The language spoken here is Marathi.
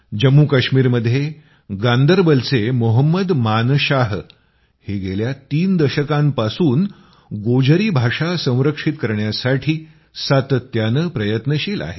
जम्मू काश्मीरमध्ये गान्दरबलचे मोहम्मद मानशाह हे गेल्या तीन दशकांपासून गोजरी भाषा संरक्षित करण्यासाठी सातत्यानं प्रयत्नशील आहेत